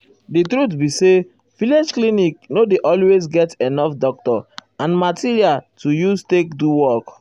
di truth be say village clinic nor dey always get enough doctor and material to use take do work.